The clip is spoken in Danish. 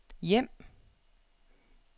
hjem